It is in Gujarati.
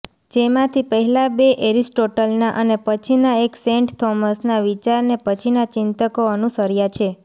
જેમાંથી પહેલા બે એરિસ્ટોટલના અને પછીના એક સેન્ટ થોમસના વિચારને પછીના ચિંતકો અનુસર્યા છે